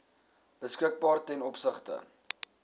beskikbaar ten opsigte